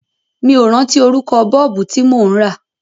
Mi ò rántí orúkọ Bọ́ọ̀bù tí mò ń rà.